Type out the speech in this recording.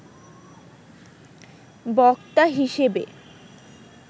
বক্তা হিসেবে